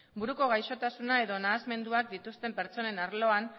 buruko gaixotasuna edo nahasmenduak dituzten pertsonen arloan